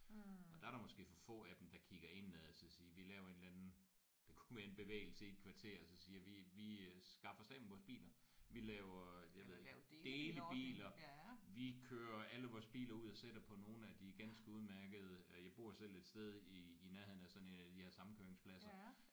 Og der er der måske for få af dem der kigger indad og så siger vi laver en eller anden det kunne være en bevægelse i et kvarter og så siger vi vi øh skaffer os af med vores biler. Vi laver øh jeg ved ikke delebiler. Vi kører alle vores biler ud og sætter på nogle af de ganske udmærkede øh jeg bor selv et sted i i nærheden af sådan en af de her samkøringspladser